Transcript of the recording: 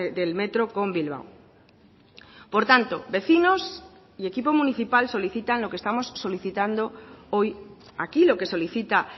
del metro con bilbao por tanto vecinos y equipo municipal solicitan lo que estamos solicitando hoy aquí lo que solicita